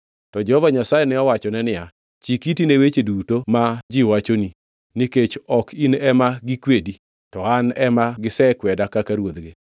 To Jehova Nyasaye ne owachone niya, “Chik iti ne weche duto ma ji wachoni; nikech ok in ema gikwedi, to An ema gisekweda kaka ruodhgi.